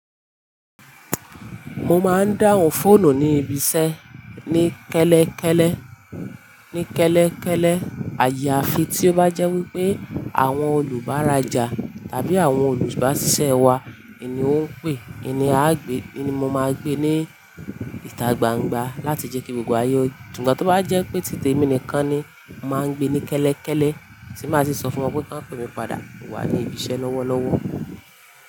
Mo máa ń dáhùn fóònù ní ibi iṣẹ́ ní kẹ́lẹ́kẹ́lẹ́, ní kẹ́lẹ́kẹ́lẹ́. Àyàfi tí ó bá jẹ́ wípé àwọn olùbárajà àbí àwọn olùbaṣiṣe wá, iní ó ń pè, è ní a á gbé, í ní mo máa gbé ní ìta gbangba láti jẹ́ kí gbogbo ayé yó. Ṣùgbọ́n tí ó bá jẹ́ pé títèmi nìkan ni, máa ń gbé ní kẹ́lẹ́kẹ́lẹ́, tí máa ṣì sọ fún wọn pé kí wọ́n pe mi padà wá ní ibi iṣẹ́ lọ́wọ́lọ́wọ́.